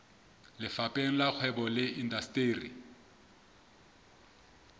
lefapheng la kgwebo le indasteri